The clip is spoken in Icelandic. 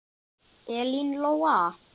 Elín Lóa.